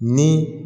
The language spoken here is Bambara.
Ni